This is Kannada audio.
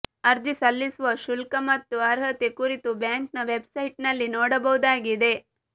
ಅರ್ಜಿ ಸಲ್ಲಿಸುವ ಶುಲ್ಕ ಮತ್ತು ಅರ್ಹತೆ ಕುರಿತು ಬ್ಯಾಂಕ್ನ ವೆಬ್ಸೆಟ್ನಲ್ಲಿ ನೋಡಬಹುದಾಗಿದೆ